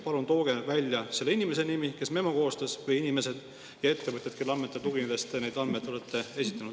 Palun tooge välja selle inimese nimi või nende inimeste nimed, kes memo on koostanud, ja ettevõtted, kelle andmetele tuginedes te neid andmeid olete esitanud.